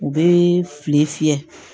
U bɛ filen fiyɛ